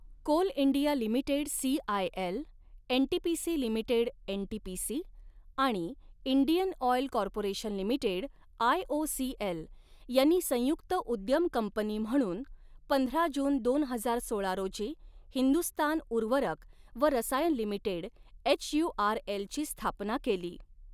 Coal India Limited CIL, NTPC Limited NTPC आणि Indian Oil Corporation Limited IOCL यांनी संयुक्त उद्यम कंपनी म्हणून पंधरा जून दोन हजार सोळा रोजी हिंदुस्तान उर्वरक व रसायन लिमिटेड एचयुआरएल ची स्थापना केली.